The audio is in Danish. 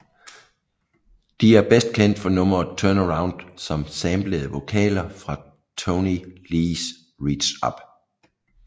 De er best kendt for nummeret Turn Around som samplede vokaler fra Toney Lees Reach Up